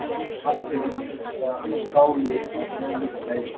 Kannski er íslenska stálið að kikka inn?